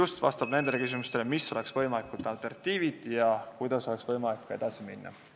Tema vastab nendele küsimustele, mis on võimalikud alternatiivid ja kuidas oleks võimalik edasi minna.